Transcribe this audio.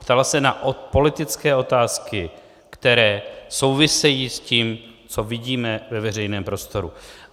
Ptala se na politické otázky, které souvisejí s tím, co vidíme ve veřejném prostoru.